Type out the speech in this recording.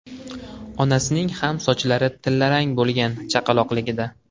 Onasining ham sochlari tillarang bo‘lgan chaqaloqligida.